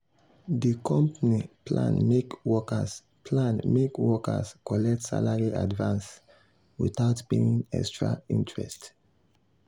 di company plan make workers plan make workers collect salary advance without paying extra interest.